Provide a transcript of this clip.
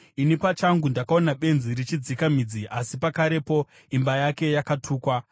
Ini pachangu ndakaona benzi richidzika midzi, asi pakarepo imba yake yakatukwa.